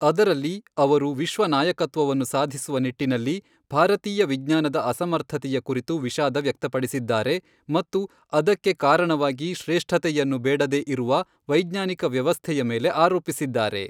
ಅದರಲ್ಲಿ, ಅವರು ವಿಶ್ವ ನಾಯಕತ್ವವನ್ನು ಸಾಧಿಸುವ ನಿಟ್ಟಿನಲ್ಲಿ ಭಾರತೀಯ ವಿಜ್ಞಾನದ ಅಸಮರ್ಥತೆಯ ಕುರಿತು ವಿಷಾದ ವ್ಯಕ್ತಪಡಿಸಿದ್ದಾರೆ ಮತ್ತು ಅದಕ್ಕೆ ಕಾರಣವಾಗಿ ಶ್ರೇಷ್ಠತೆಯನ್ನು ಬೇಡದೇ ಇರುವ ವೈಜ್ಞಾನಿಕ ವ್ಯವಸ್ಥೆಯ ಮೇಲೆ ಆರೋಪಿಸಿದ್ದಾರೆ.